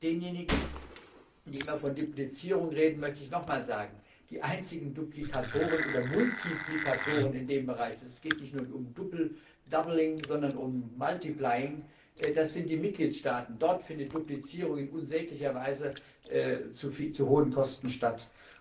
Und denjenigen, die immer von Duplizierung reden, möchte ich nochmals sagen Die einzigen Duplikatoren oder Multiplikatoren in diesem Bereich es geht nicht nur um doubling sondern um multiplying das sind die Mitgliedstaaten, dort findet Duplizierung in unsäglicher Weise zu hohen Kosten statt.